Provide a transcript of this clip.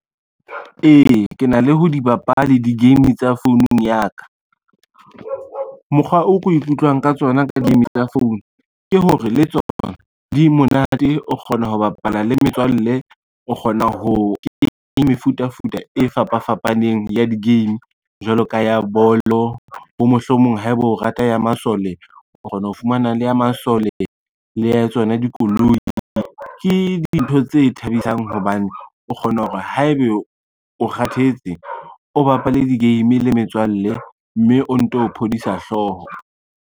Ee, ke na le ha di bapale di-game tsa founung ya ka. Mokgwa o ko ikutlwang ka tsona ka game tsa phone ke hore le tsona di monate, o kgona ho bapala le metswalle, o kgona ho ke mefutafuta e fapafapaneng ya di-game. Jwalo ka ya bolo, bo mohlomong haeba o rata ya masole o kgona ho fumana le ya masole le ya tsona dikoloi. Ke dintho tse thabisang hobane o kgona hore haebe o kgathetse, o bapale di-game le metswalle mme o nto phodisa hlooho.